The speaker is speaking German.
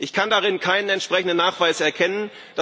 Ich kann darin keinen entsprechenden Nachweis erkennen.